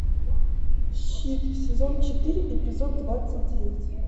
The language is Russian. щит сезон четыре эпизод двадцать девять